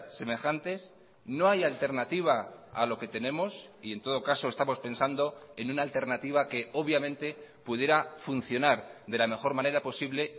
semejantes no hay alternativa a lo que tenemos y en todo caso estamos pensando en una alternativa que obviamente pudiera funcionar de la mejor manera posible